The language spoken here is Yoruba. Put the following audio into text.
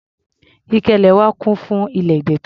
Ike ilẹ̀ wa kún fún ilẹ̀ ìdọ̀tí.